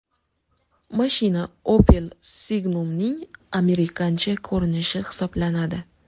Mashina Opel Signum’ning amerikancha ko‘rinishi hisoblanadi.